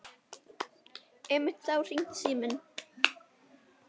Einmitt þá hringdi síminn.